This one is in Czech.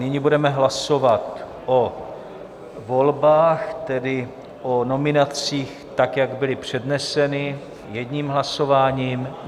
Nyní budeme hlasovat o volbách, tedy o nominacích, tak jak byly předneseny, jedním hlasováním.